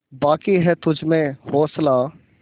बाक़ी है तुझमें हौसला